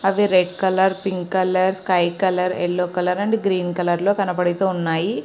అవి red colour pink colour sky colour yellow colour and green colour లో కనబడుతున్నాయి.